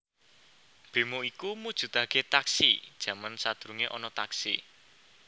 Bemo iku mujudake Taxi jaman sadurunge ana Taxi